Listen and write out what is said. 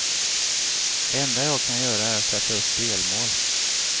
Det enda jag kan göra är sätta upp delmål.